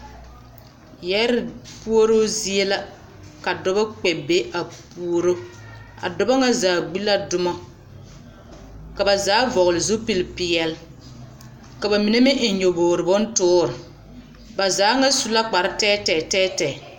Yɛɛre puoruu zie la ka dɔbɔ kpɛ be a puoro a dɔbɔ ŋa zaa gbi la dumɔ ka ba zaa vɔgli zupilpeɛli ka bamine meŋ eŋ nyɔboore bontoori ba zaa ŋa su la kparre tɛɛtɛɛ tɛɛtɛɛ.